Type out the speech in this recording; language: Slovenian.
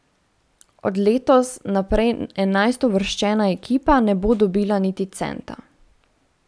Od letos naprej enajstouvrščena ekipa ne bo dobila niti centa.